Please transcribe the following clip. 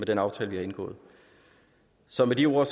den aftale vi har indgået så med de ord